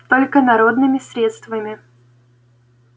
только народными средствами